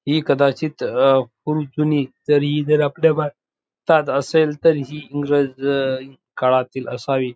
हि कदाचित अ खूप जुनी जर ही जर आपल्या भारतात असेल तर हि इंग्रज काळातील असावी.